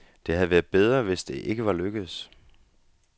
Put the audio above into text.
Det havde været bedre, hvis det ikke var lykkedes.